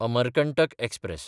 Amarkantak express